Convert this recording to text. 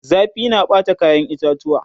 zafi na Bata kayan itatuwa